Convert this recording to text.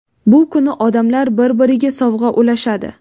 Bu kuni odamlar bir-biriga sovg‘a ulashadi.